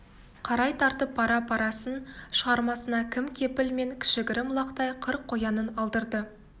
қарай тартып пара-парасын шығармасына кім кепіл мен кіші-гірім лақтай қыр қоянын алдырды